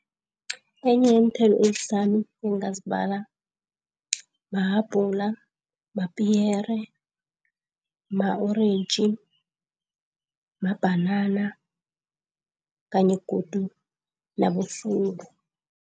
Enye yeenthelo ezihlanu engingazibala mahabhula, mapiyere, ma-orentji, mabhanana kanye godu